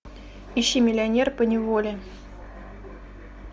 ищи миллионер поневоле